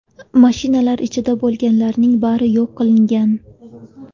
Mashinalar ichida bo‘lganlarning bari yo‘q qilingan.